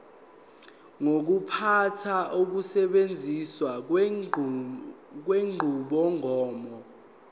ukuphatha nokusetshenziswa kwenqubomgomo